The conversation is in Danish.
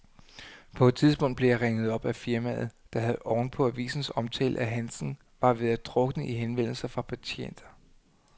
På et tidspunkt blev jeg ringet op af firmaet, der oven på avisens omtale af handsken var ved at drukne i henvendelser fra patienter.